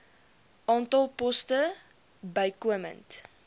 aantal poste bykomend